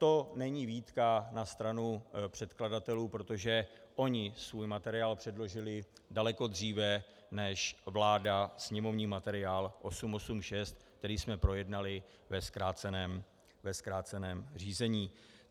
To není výtka na stranu předkladatelů, protože oni svůj materiál předložili daleko dříve než vláda sněmovní materiál 886, který jsme projednali ve zkráceném řízení.